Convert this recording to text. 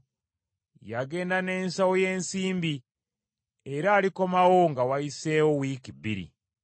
Yagenda n’ensawo y’ensimbi; era alikomawo nga wayiseewo wiiki bbiri.”